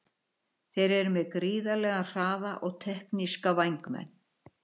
Þeir eru með gríðarlega hraða og tekníska vængmenn.